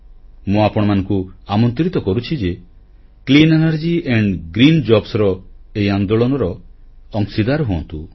ମୁଁ ଆପଣମାନଙ୍କୁ ଆମନ୍ତ୍ରିତ କରୁଛି ଯେ clean energy and green jobs ର ଏହି ଆନ୍ଦୋଳନରେ ଅଂଶୀଦାର ହୁଅନ୍ତୁ